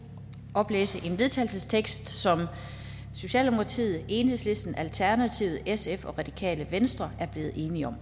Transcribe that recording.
oplæse en vedtagelsestekst som socialdemokratiet enhedslisten alternativet sf og radikale venstre er blevet enige om